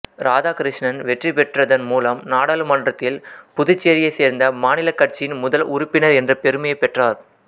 ராதாகிருஷ்ணன் வெற்றிபெற்றதன் மூலம் நாடாளுமன்றத்தில் புதுச்சேரியைச் சேர்ந்த மாநில கட்சியின் முதல் உறுப்பினர் என்ற பெருமையைப் பெற்றார்